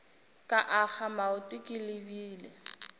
ka akga maoto ke lebile